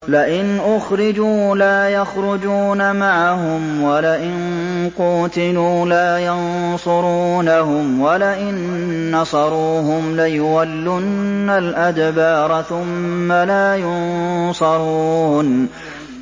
لَئِنْ أُخْرِجُوا لَا يَخْرُجُونَ مَعَهُمْ وَلَئِن قُوتِلُوا لَا يَنصُرُونَهُمْ وَلَئِن نَّصَرُوهُمْ لَيُوَلُّنَّ الْأَدْبَارَ ثُمَّ لَا يُنصَرُونَ